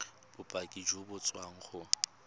bopaki jo bo tswang go